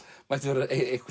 mætti vera